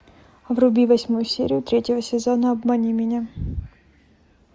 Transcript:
вруби восьмую серию третьего сезона обмани меня